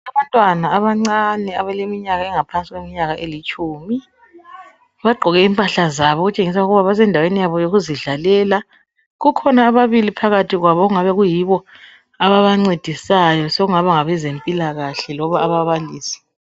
Abantwana abancane abaleminyaka engaphansi kwetshumi bagqoke imphahla zabo okutshengisa ukuthi bazendawe yabo yokuzidlalela kukhona ababili phakathi kwabo okungabe kuyibo ababancedisayo sekungaba ngabezempilakahle kumbe ababalisi.